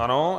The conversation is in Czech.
Ano.